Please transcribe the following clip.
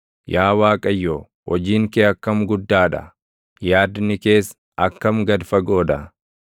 Yaa Waaqayyo, hojiin kee akkam guddaa dha; yaadni kees akkam gad fagoo dha!